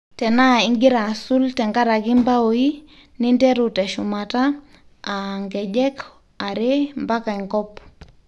tenaa ingira asul tenkaraki mbaoi, ninteru teshumata ,aa nkejek are mpaka enkop